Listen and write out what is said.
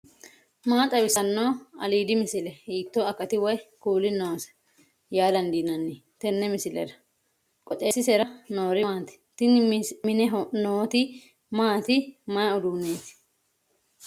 maa xawissanno aliidi misile ? hiitto akati woy kuuli noose yaa dandiinanni tenne misilera? qooxeessisera noori maati ? tini mine nooti maati mayi uduunneeti